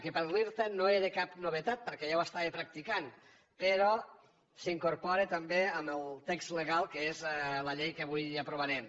que per a l’irta no era cap novetat perquè ja ho estava practicant però s’incorpora també en el text legal que és la llei que avui aprovarem